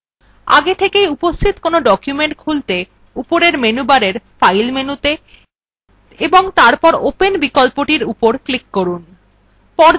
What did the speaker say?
আগে থেকে উপস্থিত কোনো document খুলতে উপরের menu bar file মেনুতে এবং তারপর open বিকল্পটির উপর click করুন